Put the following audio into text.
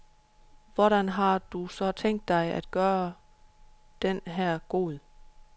Hvordan har du så tænkt dig at gøre den her god?